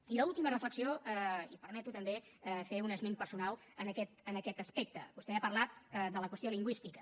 i l’última reflexió i em permeto també fer un esment personal en aquest aspecte vostè ha parlat de la qüestió lingüística